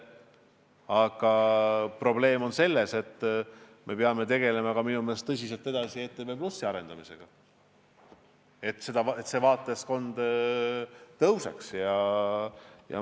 Aga probleem on selles, et me peame minu meelest tõsiselt edasi tegelema ETV+ arendamisega, et selle vaatajaskond kasvaks.